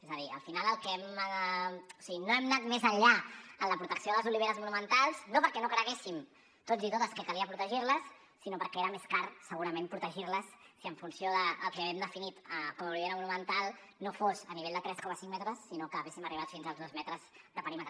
és a dir al final no hem anat més enllà en la protecció de les oliveres monumentals no perquè no creguéssim tots i totes que calia protegir les sinó perquè era més car segurament protegir les en funció del que hem definit com a olivera monumental si no fos a nivell de tres coma cinc metres sinó que haguéssim arribat fins als dos metres de perímetre